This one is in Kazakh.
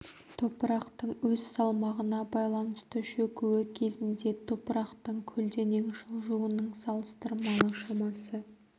топырақтың өз салмағына байланысты шөгуі кезінде топырақтың көлденең жылжуының салыстырмалы шамасы